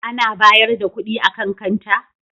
Ana bayar da kuɗi a kan kanta?